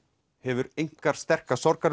hefur einkar sterka